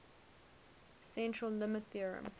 central limit theorem